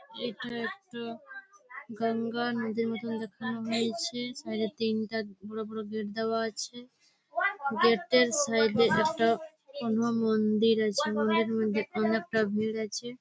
এখানে একটা গঙ্গা নদীর মতো দেখানো হয়েছে। সাইড -এ তিনটা বড় বড় গেট দেওয়া আছে । গেট -এর সাইড -এ একটা কোনো মন্দির আছে মন্দির এর মধ্যে অনেকটা ভিড় আছে --